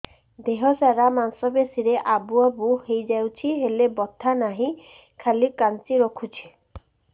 ଦେହ ସାରା ମାଂସ ପେଷି ରେ ଆବୁ ଆବୁ ହୋଇଯାଇଛି ହେଲେ ବଥା ନାହିଁ ଖାଲି କାଞ୍ଚି ରଖୁଛି